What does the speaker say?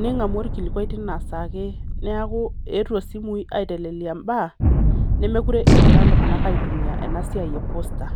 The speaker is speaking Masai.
Ning'amu orkilikwai tinasaa ake. Neeku eetuo simui aitelelia mbaa, mekure egira iltung'anak aitumia enasiai e poster.